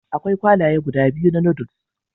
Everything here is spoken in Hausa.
Akwai kwalaye guda biyu na Noodles